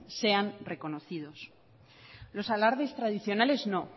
sean reconocidos los alardes tradicionales no